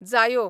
जायो